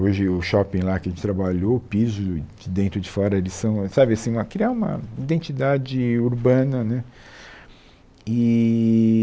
Hoje, o shopping lá que a gente trabalhou, o piso de dentro e de fora, eles são sabe assim uma criar uma identidade urbana né eee